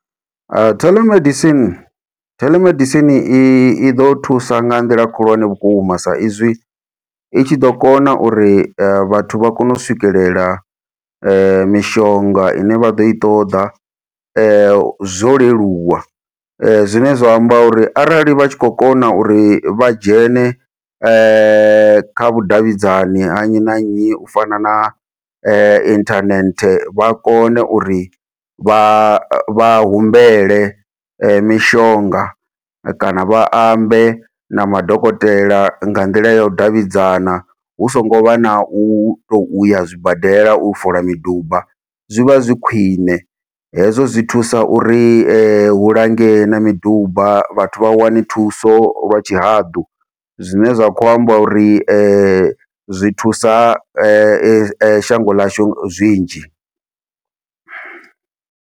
Teḽemedicine teḽemedicine iḓo thusa nga nḓila khulwane vhukuma, sa izwi i tshi ḓo kona uri vhathu vha kone u swikelela mishonga ine vha ḓo i ṱoḓa zwo leluwa, zwine zwa amba uri arali vha tshi khou kona uri vha dzhene kha vhudavhidzani ha nnyi na nnyi u fana na inthanethe vha kone uri vha vha humbele mishonga kana vha ambe na madokotela nga nḓila yau davhidzana hu songo vha na u tou ya zwibadela u fola miduba zwi vha zwi khwiṋe. Hezwo zwi thusa uri hu langee na miduba vhathu vha wane thuso lwa tshihaḓu, zwine zwa kho amba uri zwi thusa shango ḽashu zwinzhi.